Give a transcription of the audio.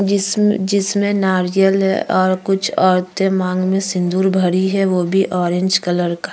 जिसम जिसमे नारियल है और कुछ औरते मांग में सिंदूर भरी है वो भी ऑरेंज कलर का।